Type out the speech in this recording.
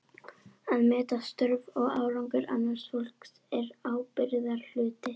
Að meta störf og árangur annars fólks er ábyrgðarhluti.